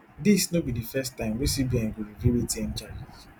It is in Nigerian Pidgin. dis no be dis first time wey cbn go review atm charges